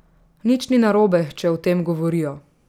Nič ni narobe, če o tem govorijo.